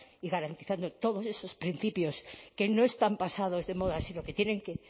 y garantizando todos esos principios que no están pasados de moda sino que tienen que